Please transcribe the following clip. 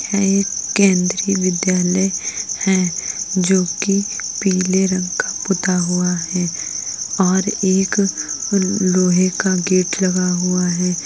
है ये एक केंदीय विद्यालय है जोकि पीले रंग का पुता हुआ है और एक लोहे का गेट लगा हुआ है।